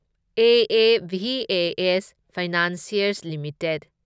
AAVAS financiers limited